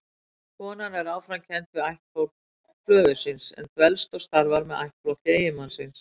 Konan er áfram kennd við ættflokk föður síns, en dvelst og starfar með ættflokki eiginmannsins.